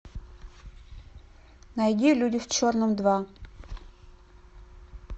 найди люди в черном два